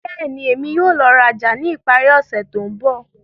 Bẹ́ẹ̀ni, Emi yóò lọ raja ni ipari ose to nbọ.